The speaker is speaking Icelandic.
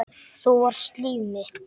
Þú varst líf mitt.